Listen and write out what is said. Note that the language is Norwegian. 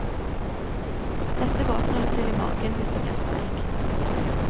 Dette våkner du til i morgen hvis det blir streik.